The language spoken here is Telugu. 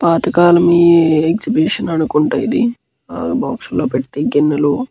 పాతకాలం ఈ ఎక్సహిబిటిషన్ అనుకుంట ఇది బాక్స్ లో పెడితే గిన్నెలు --